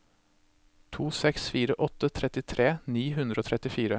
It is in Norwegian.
to seks fire åtte trettitre ni hundre og trettifire